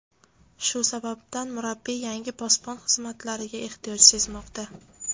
Shu sababdan, murabbiy yangi posbon xizmatlariga ehtiyoj sezmoqda.